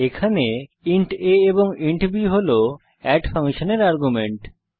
এখানে int a এবং int b হল এড ফাংশনের আর্গুমেন্ট